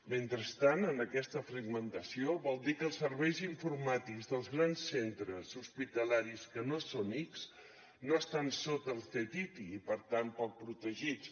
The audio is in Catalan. mentrestant amb aquesta fragmentació vol dir que els serveis informàtics dels grans centres hospitalaris que no són ics no estan sota el ctti i per tant poc protegits